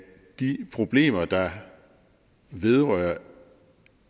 de problemer der vedrører